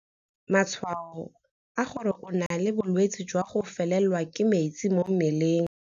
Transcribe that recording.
Matshwao a gore o na le bolwetse jwa go felelwa ke metsi mo mmeleng.